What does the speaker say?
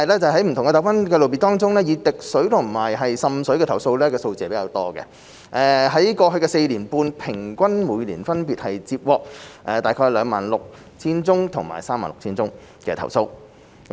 在不同糾紛類別中，以滴水和滲水的投訴數字居多，在過去4年半平均每年分別接獲約 26,000 宗和 36,000 宗投訴。